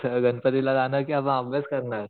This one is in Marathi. गणपती ला जाणार कि अभ्यास करणार?